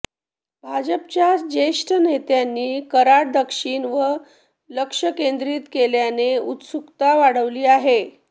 भाजपच्या ज्येष्ठ नेत्यांनी कराड दक्षिण वर लक्ष केंद्रीत केल्याने उत्सुकता वाढली आहे